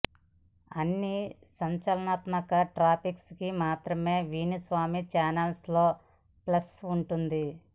అన్నీ సంచలనాత్మక టాపిక్స్ కి మాత్రమే వేణుస్వామి ఛానల్ లో ప్లేస్ ఉంటుంది